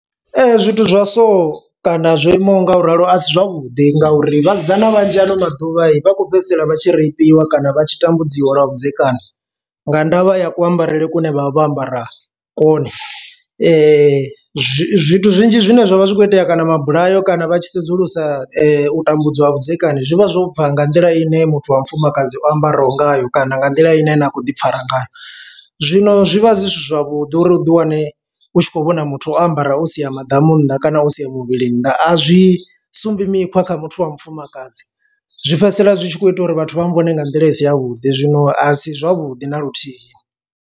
Zwithu zwa so kana zwo imaho nga u ralo a si zwavhuḓi ngauri vhasidzana vhanzhi ano maḓuvha vha khou fhedzisela vha tshi rapiwa kana vha tshi tambudziwa lwa vhudzekani, nga ndavha ya ku ambarele kune vha vha vho ambara kone zwi zwithu zwinzhi zwine zwavha zwi kho itea kana mabulayo kana vha tshi sedzulusa u tambudzwa lwa vhudzekani zwivha zwo bva nga nḓila ine muthu wa mufumakadzi o ambaraho ngayo kana nga nḓila ine na kho ḓi fara ngayo. Zwino zwi vha zwi zwi si zwavhuḓi uri uḓi wane u tshi khou vhona muthu o ambara u sia maḓamu nnḓa kana u sia muvhili nnḓa, a zwi sumbedzi mikhwa kha muthu wa mufumakadzi zwi fhedzisela zwi tshi kho ita uri vhathu vha vhone nga nḓila i si yavhuḓi zwino a si zwavhuḓi na luthihi.